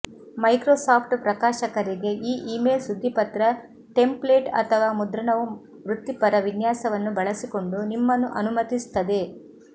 Microsoft ಪ್ರಕಾಶಕರಿಗೆ ಈ email ಸುದ್ದಿಪತ್ರ ಟೆಂಪ್ಲೇಟು ಅಥವಾ ಮುದ್ರಣವು ವೃತ್ತಿಪರ ವಿನ್ಯಾಸವನ್ನು ಬಳಸಿಕೊಂಡು ನಿಮ್ಮನ್ನು ಅನುಮತಿಸುತ್ತದೆ